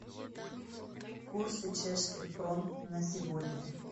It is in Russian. курсы чешских крон на сегодня